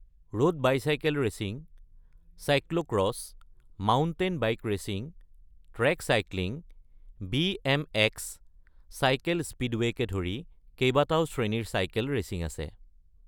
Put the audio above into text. Road bicycle racing, cyclo cross, mountain bike racing, track cycling, BMX., cycle স্পীডৱেকে ধৰি কেইবাটাও শ্ৰেণীৰ চাইকেল ৰেচিং আছে।